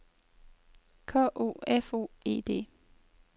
K O F O E D